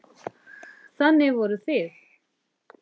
Þannig voru þið.